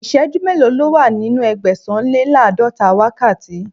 Ìsẹ́jú mélòó ni ó wà nínú Ẹgbẹ̀sàn-lé-láàdọ́ta wákàtí?